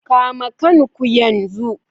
Kama kan ku yanzu.